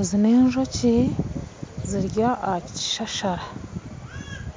Ezi nenjoki ziri aha kishashara ,